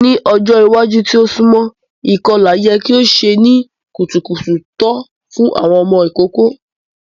Ni ọjọ iwaju ti o sunmọ, ikọla yẹ ki o ṣe ni kutukutu to fun awọn ọmọ ikoko.